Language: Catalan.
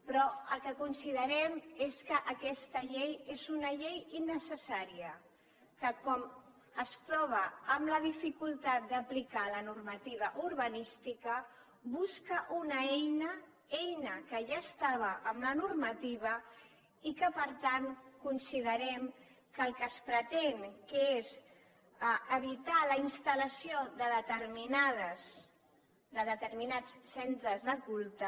però el que considerem és que aquesta llei és una llei innecessària que com es troba amb la dificultat d’aplicar la normativa urbanística busca una eina eina que ja estava en la normativa i que per tant considerem que el que es pretén que és evitar la instal·lació de determinats centres de culte